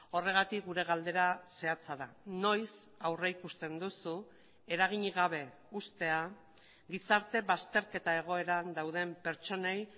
horregatik gure galdera zehatza da noiz aurrikusten duzu eraginik gabe uztea gizarte bazterketa egoeran dauden pertsonei